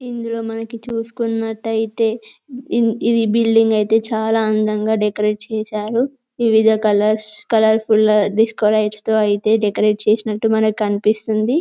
ఇందులో మనకి చూసుకున్నట్లయితే ఇది బిల్డింగ్ అయితే చాలా అందంగా డెకరేట్ చేశారు. వివిధ కలర్స్ కలర్ఫుల్ గా డిస్కో లైట్స్ అయితే డెకరేట్ చేసినట్లు మనకు కనిపిస్తుంది.